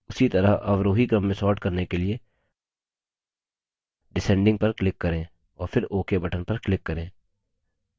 उसी तरह अवरोही क्रम में sort करने के लिए descending पर click करें और फिर ok button पर click करें